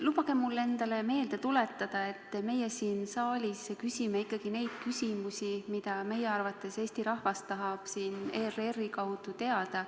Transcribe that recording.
Lubage mul endale meelde tuletada, et meie siin saalis küsime ikkagi neid küsimusi, mida meie arvates Eesti rahvas tahab ERR-i kaudu teada.